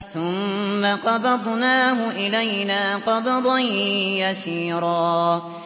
ثُمَّ قَبَضْنَاهُ إِلَيْنَا قَبْضًا يَسِيرًا